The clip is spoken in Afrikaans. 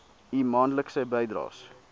u maandelikse bydraes